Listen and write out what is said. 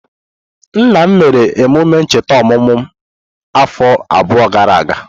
Nna m mere emume ncheta ọmụmụ m afọ abụọ gara aga.